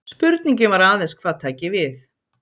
Spurningin var aðeins hvað tæki við.